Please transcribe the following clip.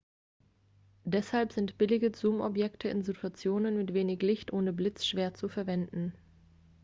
deshalb sind billige zoomobjektive in situationen mit wenig licht ohne blitz schwer zu verwenden